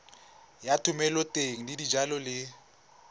ya thomeloteng ya dijalo le